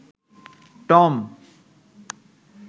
Tom